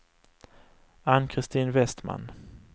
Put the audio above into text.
Ann-Christin Westman